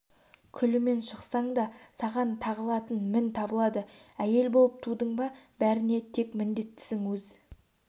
күлімен шықсаң да саған тағылатын мін табылады әйел болып тудың ба бәріне тек міндеттісің өз